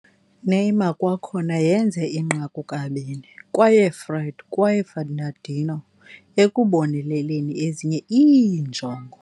Neymar kwakhona yenze inqaku kabini, kwaye Fred kwaye Fernandinho ekuboneleleni ezinye iinjongo.